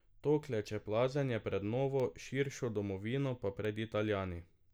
To klečeplazenje pred novo, širšo domovino pa pred Italijani!